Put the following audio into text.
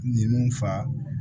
Ninnu fa